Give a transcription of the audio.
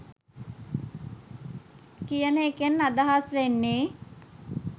කියන එකෙන් අදහස් වෙන්නේ.